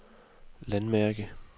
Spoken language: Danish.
landmærke